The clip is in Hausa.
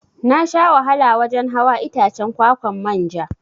Nasha wahala wajan hawa Itacen kwa-kwan manja.